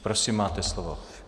Prosím, máte slovo.